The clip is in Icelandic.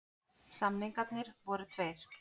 Samningarnir voru tveir